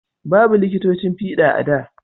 Babu liƙitocin fiɗa a da